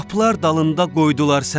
Qapılar dalında qoydular səni.